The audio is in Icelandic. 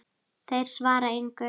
Þeir svara engu.